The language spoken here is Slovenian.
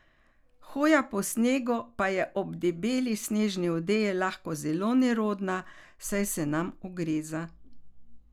Hoja po snegu pa je ob debeli snežni odeji lahko zelo nerodna, saj se nam ugreza.